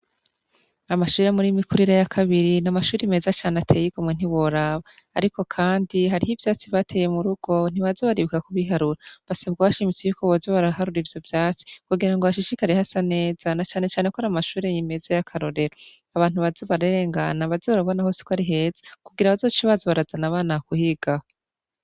Amashure yo muri Mikurira ya kabiri ni amashuri meza cane atey'igomwe ntiworaba. Ariko kandi hariho ivyatsi bateye mu rugo, ntibaza baribuka kubiharura. Basabwe bashimitse ko boza baraharura ivyo vyatsi kugira hashishikare hasa neza na cane cane ko ar'amashure meza y'akarorero. Abantu baze bararengana baze babone hose ko ari heza kugira bazoce baza barazana abana kwigaho.